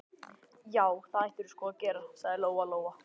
Já, það ættirðu sko að gera, sagði Lóa Lóa.